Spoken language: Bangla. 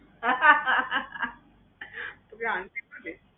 হা হা হা হা তোকে aunty বলে?